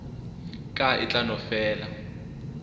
ka e tla no fela